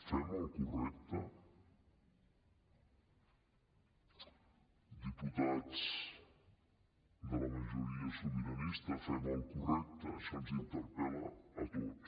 fem el correcte diputats de la majoria sobiranista fem el correcte això ens interpel·la a tots